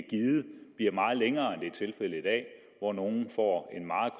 givet bliver meget længere er tilfældet i dag hvor nogle får en meget